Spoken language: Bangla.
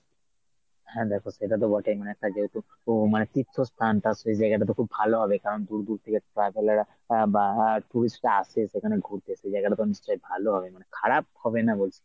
হ্যাঁ দেখ সেটা তো বটেই মানে একটা যেহেতু তো মানে তীর্থস্থানটা সেই জায়গাটা তো খুব ভালো হবে কারণ দূর দূর থেকে traveller রা এর বা tourist রা এখানে ঘুরতে এসে এ জায়গা টা তো নিশ্চয় ভালো হবে মানে খারাপ হবে না বলছি।